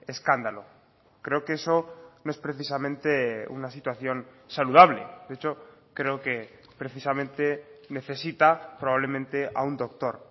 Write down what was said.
escándalo creo que eso no es precisamente una situación saludable de hecho creo que precisamente necesita probablemente a un doctor